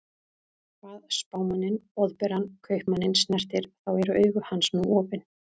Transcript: Hvað Spámanninn Boðberann Kaupmanninn snertir, þá eru augu hans nú opin.